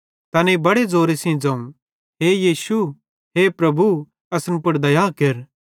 तैनेईं बड़े ज़ोरे सेइं ज़ोवं हे यीशु हे प्रभु असन पुड़ दया केर